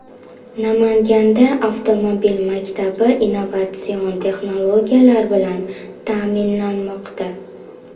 Namanganda avtomobil maktabi innovatsion texnologiyalar bilan ta’minlanmoqda.